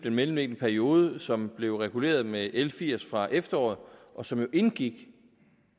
mellemliggende periode som blev reguleret med l firs fra efteråret og som indgik